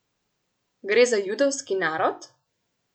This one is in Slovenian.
Gre za judovski narod?